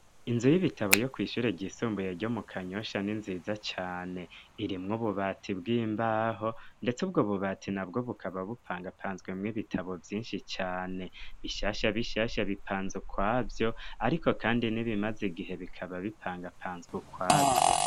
Inzu y'ibitabo yo kw'ishure ryisumbuye ryo mu kanyosha ni nziza cane irimwo ububati bw'imbaho, ndetse ubwo bubati na bwo bukaba bupangapanzwemwo ibitabo vyinshi cane bishasha bishasha bipanzwe kwavyo, ariko, kandi ni bimaze igihe bikaba bipangapanzwe kwavyo.